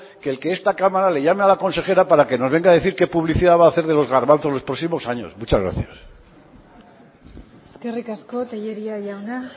que el que esta cámara le llame a la consejera para que nos venga a decir qué publicidad va a hacer de los garbanzos los próximos años muchas gracias eskerrik asko tellería jauna